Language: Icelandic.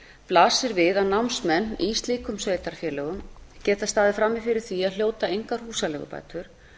blasir við að námsmenn í slíkum sveitarfélögum geta staðið frammi fyrir því að hljóta engar húsaleigubætur